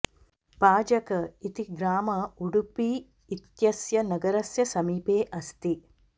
पाजक इति ग्राम उडुपी इत्यस्य नगरस्य समीपे अस्ति